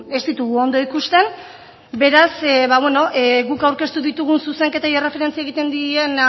ez ditugu ondo ikusten beraz guk aurkeztu ditugun zuzenketei erreferentzia egiten dien